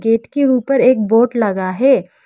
Gate के ऊपर एक बोर्ड लगा है।